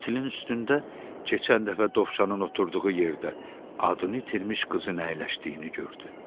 Kətilin üstündə keçən dəfə dovşanın oturduğu yerdə adını itirmiş qızın əyləşdiyini gördü.